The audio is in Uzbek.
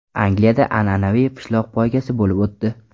Angliyada an’anaviy pishloq poygasi bo‘lib o‘tdi.